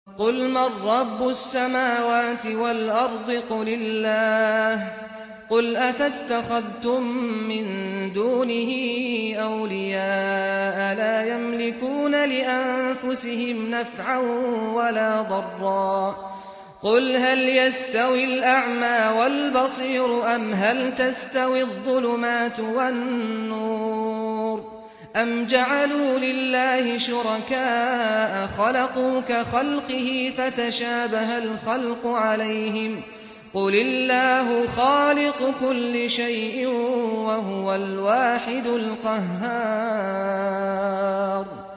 قُلْ مَن رَّبُّ السَّمَاوَاتِ وَالْأَرْضِ قُلِ اللَّهُ ۚ قُلْ أَفَاتَّخَذْتُم مِّن دُونِهِ أَوْلِيَاءَ لَا يَمْلِكُونَ لِأَنفُسِهِمْ نَفْعًا وَلَا ضَرًّا ۚ قُلْ هَلْ يَسْتَوِي الْأَعْمَىٰ وَالْبَصِيرُ أَمْ هَلْ تَسْتَوِي الظُّلُمَاتُ وَالنُّورُ ۗ أَمْ جَعَلُوا لِلَّهِ شُرَكَاءَ خَلَقُوا كَخَلْقِهِ فَتَشَابَهَ الْخَلْقُ عَلَيْهِمْ ۚ قُلِ اللَّهُ خَالِقُ كُلِّ شَيْءٍ وَهُوَ الْوَاحِدُ الْقَهَّارُ